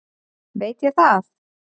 veit ég það?